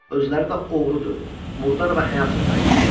Özləri də oğrudur, murdar və həyasız tayfadır.